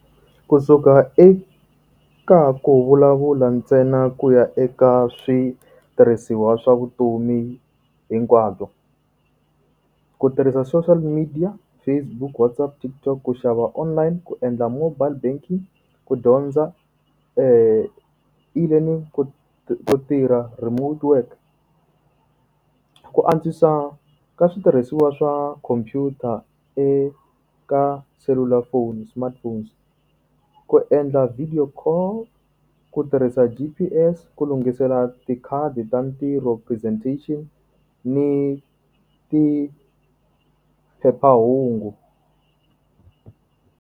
Ku suka eka ka ku vulavula ntsena ku ya eka switirhisiwa swa vutomi hinkwabyo. Ku tirhisa social media, Facebook, WhatsApp, TikTok. Ku xava online, ku endla mobile banking, ku dyondza, eLearning, ku ku tirha remote work. Ku antswisa ka switirhisiwa swa khomphyuta eka selulafoni smartphones, Ku endla video call, ku tirhisa G_P_S, ku lunghisela tikhadi ta ntirho, presentation, ni ti phephahungu.